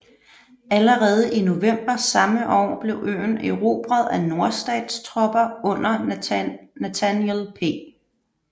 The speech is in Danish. Allerede i november samme år blev øen erobret af nordstatstropper under Nathaniel P